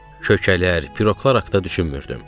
Kökələr, piroqlar haqqda düşünmürdüm.